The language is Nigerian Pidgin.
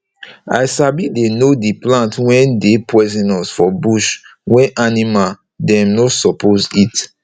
i sabi dey know d plant wey dey poisonous for bush wey animal dem nor suppose eat